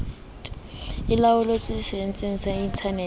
e laollotswe setsheng sa internete